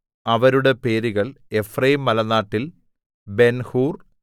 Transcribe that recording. അവരുടെ പേരുകൾ എഫ്രയീംമലനാട്ടിൽ ബെൻഹൂർ